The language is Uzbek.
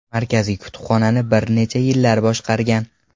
Markaziy kutubxonani bir necha yillar boshqargan.